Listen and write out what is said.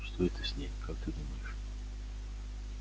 что это с ней как ты думаешь